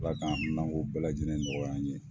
Ala k'an haminako bɛɛ lajɛlen nɔgɔya an ye